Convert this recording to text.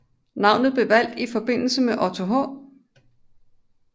Navnet blev valgt i forbindelse med Otto H